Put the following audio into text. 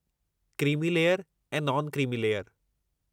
Creamy layer ऐं non creamy layer.